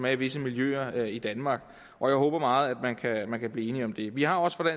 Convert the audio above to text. er i visse miljøer i danmark jeg håber meget at man kan blive enig om det vi har også fra